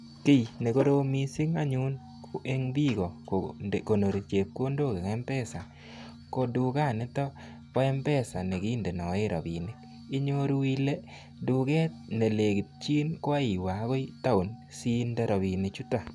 Kiiy nekorom mising anyun eng biiko kokonori chepkondok eng mpesa ko dukanito bo mpesa nekindonoe rabinik. Inyoru ile duket nelekityin ko aiwe akoi town siinde rabinichutok.